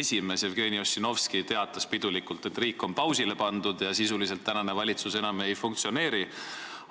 esimees Jevgeni Ossinovski teatas pidulikult, et riik on pausile pandud ja sisuliselt valitsus enam ei funktsioneeri.